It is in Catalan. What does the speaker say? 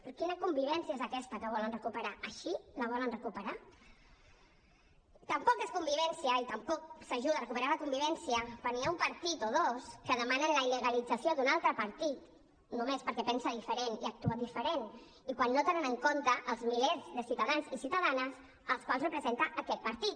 però quina convivència és aquesta que volen recuperar així la volen recuperar tampoc és convivència i tampoc s’ajuda a recuperar la convivència quan hi ha un partit o dos que demanen la il·legalització d’un altre partit només perquè pensa diferent i actua diferent i quan no tenen en compte els milers de ciutadans i ciutadanes als quals representa aquest partit